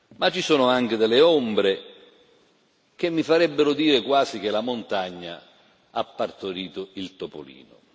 Ma, ci sono anche delle ombre che mi farebbero dire quasi che la montagna ha partorito il topolino.